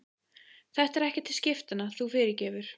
Þetta er ekki til skiptanna, þú fyrirgefur.